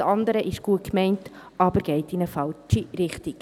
das andere ist gut gemeint, geht aber in eine falsche Richtung.